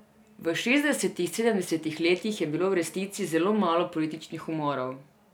V šestdesetih, sedemdesetih letih je bilo v resnici zelo malo političnih umorov.